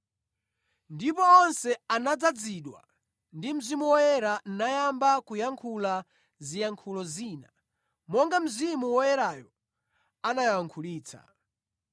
Ndipo onse anadzazidwa ndi Mzimu Woyera, nayamba kuyankhula mu ziyankhulo zina, monga Mzimu Woyerayo anawayankhulitsa.